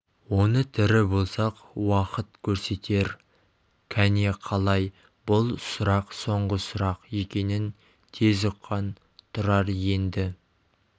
оны тірі болсақ уақыт көрсетер кәне қалай бұл сұрақ соңғы сұрақ екенін тез ұққан тұрар енді